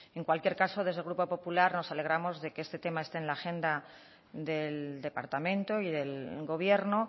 en cualquier caso desde el grupo popular nos alegremos de que este tema esté en la agenda del departamento y del gobierno